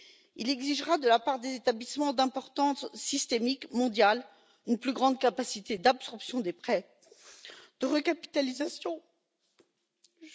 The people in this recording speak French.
Il exigera de la part des établissements d'importance systémique mondiale une plus grande capacité d'absorption des prêts et de recapitalisation. Je vais m'arrêter là.